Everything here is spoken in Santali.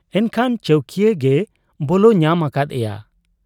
ᱮᱱᱠᱷᱟᱱ ᱪᱟᱹᱣᱠᱤᱭᱟᱹ ᱜᱮᱭ ᱵᱚᱞᱚ ᱧᱟᱢ ᱟᱠᱟᱫ ᱮᱭᱟ ᱾